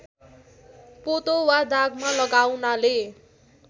पोतो वा दागमा लगाउनाले